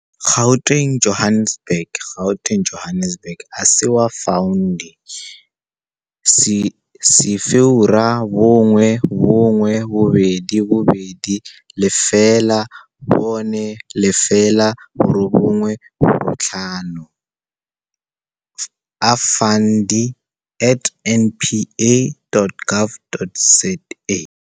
Gauteng, Johannesburg. Gauteng, Johannesburg - Asewa Fundi - 011 220 4085 - Afundi at npa.gov.za